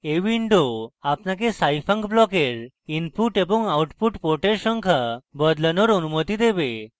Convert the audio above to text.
এই window আপনাকে scifunc ব্লকের input এবং output ports সংখ্যা বদলানোর অনুমতি দেবে